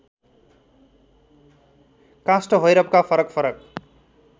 काष्ठभैरवका फरक फरक